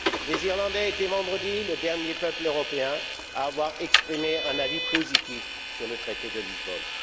Les Irlandais étaient vendredi le dernier peuple européen à avoir exprimé un avis positif sur le traité de Lisbonne.